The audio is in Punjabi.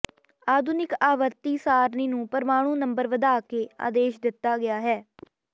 ਆਧੁਨਿਕ ਆਵਰਤੀ ਸਾਰਣੀ ਨੂੰ ਪਰਮਾਣੂ ਨੰਬਰ ਵਧਾ ਕੇ ਆਦੇਸ਼ ਦਿੱਤਾ ਗਿਆ ਹੈ